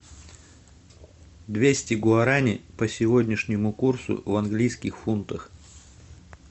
двести гуарани по сегодняшнему курсу в английских фунтах